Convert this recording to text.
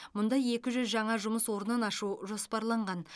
мұнда екі жүз жаңа жұмыс орнын ашу жоспарланған